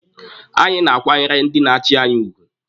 Anyị na-akwanyere ndị na-achi anyị ugwu.